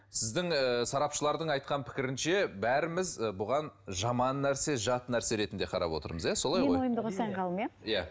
сіздің ііі сарапшылардың айтқан пікірінше бәріміз і бұған жаман нәрсе жат нәрсе ретінде қарап отырмыз иә солай ғой мен ойымды қосайын ғалым иә иә